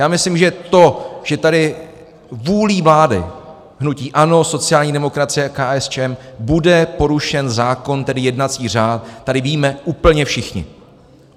Já myslím, že to, že tady vůlí vlády hnutí ANO, sociální demokracie a KSČM bude porušen zákon, tedy jednací řád, tady víme úplně všichni.